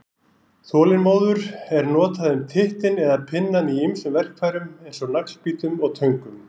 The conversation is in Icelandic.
Þolinmóður er notað um tittinn eða pinnann í ýmsum verkfærum eins og naglbítum og töngum.